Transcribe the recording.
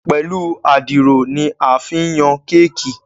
Pẹlú Àdìrò ní a fí ǹ Yàn Kéèkì.